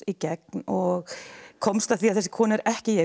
gegn og komst að því að þessi kona er ekki ég